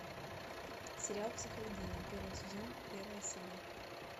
сериал психологини первый сезон первая серия